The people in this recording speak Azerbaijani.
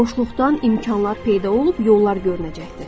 Boşluqdan imkanlar peyda olub yollar görünəcəkdir.